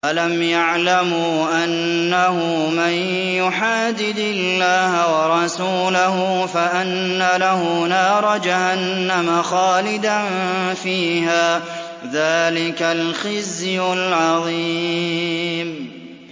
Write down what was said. أَلَمْ يَعْلَمُوا أَنَّهُ مَن يُحَادِدِ اللَّهَ وَرَسُولَهُ فَأَنَّ لَهُ نَارَ جَهَنَّمَ خَالِدًا فِيهَا ۚ ذَٰلِكَ الْخِزْيُ الْعَظِيمُ